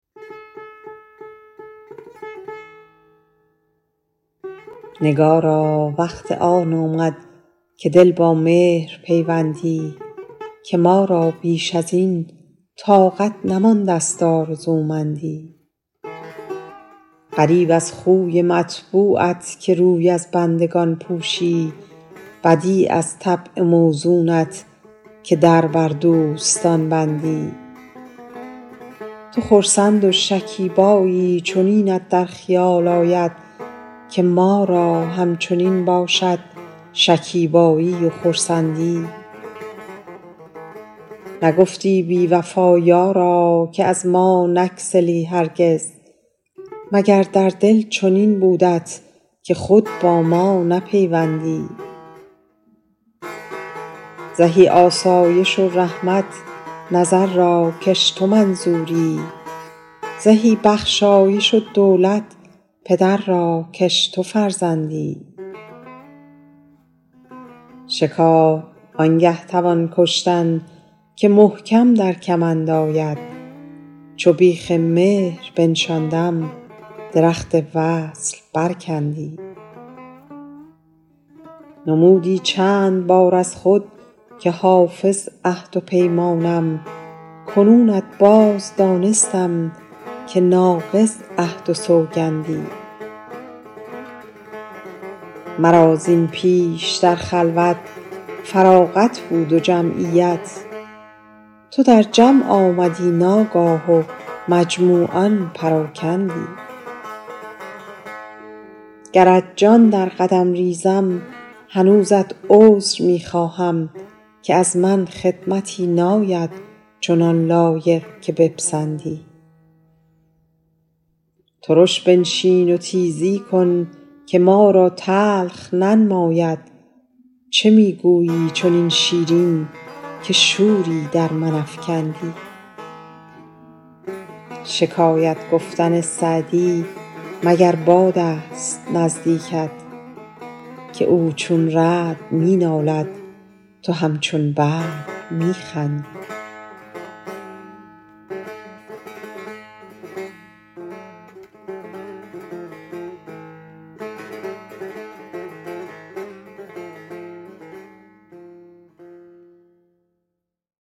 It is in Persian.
نگارا وقت آن آمد که دل با مهر پیوندی که ما را بیش از این طاقت نمانده ست آرزومندی غریب از خوی مطبوعت که روی از بندگان پوشی بدیع از طبع موزونت که در بر دوستان بندی تو خرسند و شکیبایی چنینت در خیال آید که ما را همچنین باشد شکیبایی و خرسندی نگفتی بی وفا یارا که از ما نگسلی هرگز مگر در دل چنین بودت که خود با ما نپیوندی زهی آسایش و رحمت نظر را کش تو منظوری زهی بخشایش و دولت پدر را کش تو فرزندی شکار آن گه توان کشتن که محکم در کمند آید چو بیخ مهر بنشاندم درخت وصل برکندی نمودی چند بار از خود که حافظ عهد و پیمانم کنونت باز دانستم که ناقض عهد و سوگندی مرا زین پیش در خلوت فراغت بود و جمعیت تو در جمع آمدی ناگاه و مجموعان پراکندی گرت جان در قدم ریزم هنوزت عذر می خواهم که از من خدمتی ناید چنان لایق که بپسندی ترش بنشین و تیزی کن که ما را تلخ ننماید چه می گویی چنین شیرین که شوری در من افکندی شکایت گفتن سعدی مگر باد است نزدیکت که او چون رعد می نالد تو همچون برق می خندی